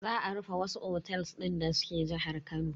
Za a rufe wasu otels din da suke jihar Kano.